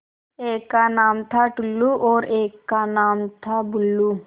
एक का नाम था टुल्लु और एक का नाम था बुल्लु